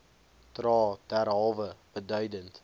dra derhalwe beduidend